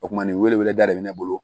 O kumanin wele weleda de bɛ ne bolo